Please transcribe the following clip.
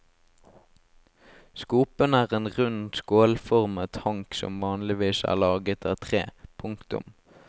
Skopen er en rund skålformet hank som vanligvis er laget av tre. punktum